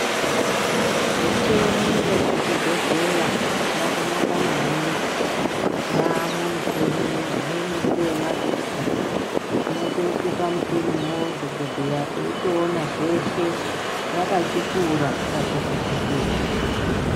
Micheni yemuzvibhedhleya yakanaka maningi. Yaamwo micheni, imweni ngeemadziso, unotoiswe pamucheniwo dhogodheya eitoona zveshe, rakachikura pachivhiti-vhiti.